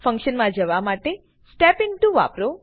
function માં જવા માટે step ઇન્ટો વાપરો